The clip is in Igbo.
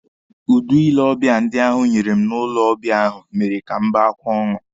Udi ile ọbịa ndị ahụ nyere m n'ụlọ ọbịa ahụ mere ka m bee akwa ọṅụ.